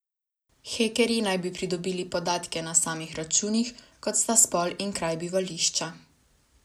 Hekerji naj bi pridobili podatke na samih računih, kot sta spol in kraj bivališča.